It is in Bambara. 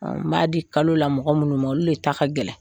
N b'a di kalo la mɔgɔ minnu ma olu de ta ka gɛlɛn